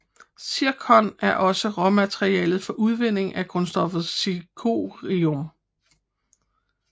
Zirkon er også råmateriale for udvinding af grundstoffet zirconium